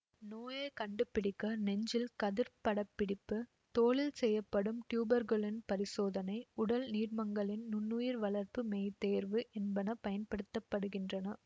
நோயை கண்டு பிடிக்க நெஞ்சில் கதிர் படப்பிடிப்பு தோலில் செய்யப்படும் டியூபர்க்குலின் பரிசோதனை உடல் நீர்மங்களின் நுண்ணுயிர் வளர்ப்பு மெய்த்தேர்வு என்பன பயன்படுத்த படுகின்றன